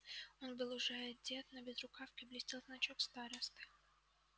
он был уже одет на безрукавке блестел значок старосты